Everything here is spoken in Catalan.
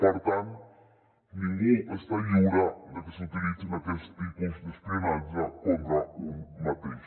per tant ningú està lliure de que s’utilitzin aquests tipus d’espionatge contra un mateix